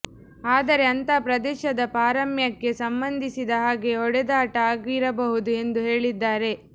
ಆದರೆ ಅಂಥ ಪ್ರದೇಶದ ಪಾರಮ್ಯಕ್ಕೆ ಸಂಬಂಧಿಸಿದ ಹಾಗೆ ಹೊಡೆದಾಟ ಆಗಿರಬಹುದು ಎಂದು ಹೇಳಿದ್ದಾರೆ